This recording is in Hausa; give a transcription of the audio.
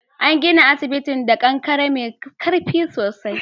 An gina asibitin da kankare mai karfi sosai.